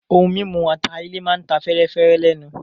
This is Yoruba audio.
Ohun mímu ata-ilẹ̀ máa ta fẹ́ẹ́rẹ́fẹ́ lẹ́nu.